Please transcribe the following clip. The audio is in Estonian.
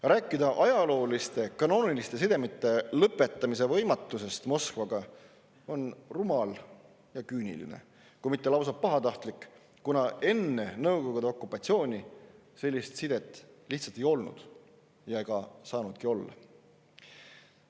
Rääkida sellest, et ajaloolisi kanoonilisi sidemeid Moskvaga on võimatu lõpetada, on rumal ja küüniline, kui mitte lausa pahatahtlik, kuna enne Nõukogude okupatsiooni selliseid sidemeid lihtsalt ei olnud ega saanudki olla.